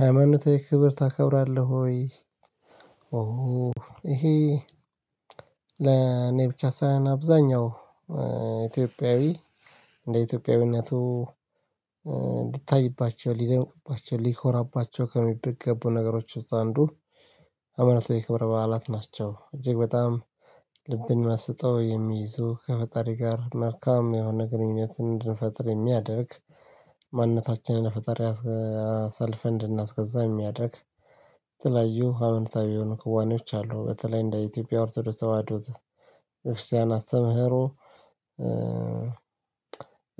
ሃይማኖታው ክብር ታከብራለህ ወይ? ኦህ። ይሄ ብቻ ሳይሆን አብዛኛው ኢትዮጵያዊ ለኢትዮጵያዊነቱ እንድታይባቸው ሊደንቅባቸው ሊኮራባቸው ከሚደግፈው ነገሮች ውስጥ አንዱ ሃይማኖታዊ የክብረ በዓላት ናቸው። እጅግ በጣም ልብን የማስጠው የሚይዘው ከፈጣሪ ጋር መልካም የሆነ ግንኙነትን እንድንፈጥር የሚያደርግ። ማንነታችንን ፈጣሪ አሳልፈን እንድናስገዛ የሚያደርግ ትላዩ ሀብንታዊ የሆኑ ከዋኖች አሉ። በተለይ እንደ ኢትዮጵያ ኦርቶዶስ ተዋህዶት ቤተ ክርስቲያን አስተምህሮ።